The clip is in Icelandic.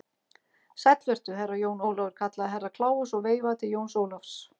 Sæll vertu, Herra Jón Ólafur, kallaði Herra Kláus og veifaði til Jóns Ólafs.